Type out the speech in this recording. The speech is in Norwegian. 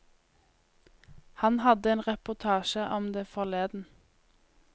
Han hadde en reportasje om det forleden.